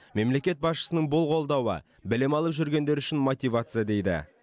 мемлекет басшысының бұл қолдауы білім алып жүргендер үшін мотивация дейді